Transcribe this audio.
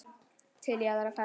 Til í aðra ferð.